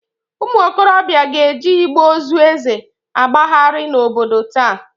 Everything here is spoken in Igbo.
Ụmụokorobịa ga-eji igbe ozu Eze agbagharị n'obodo taa.